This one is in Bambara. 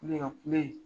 Kule ka kule